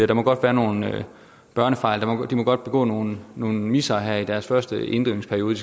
der må godt være nogle børnefejl de må godt begå nogle nogle missere her i deres første inddrivningsperiode